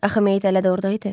Axı meyit elə də orda idi.